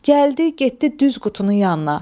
Gəldi, getdi düz qutunun yanına.